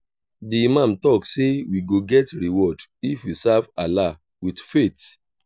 di imam talk say we go get reward if we serve allah with faith.